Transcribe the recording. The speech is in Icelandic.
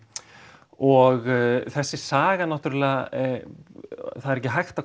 og þessi saga náttúrulega það er ekki hægt að